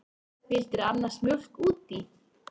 Vildirðu annars mjólk út í?